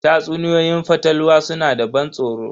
Tatsuniyoyin fatalwa suna da ban tsoro.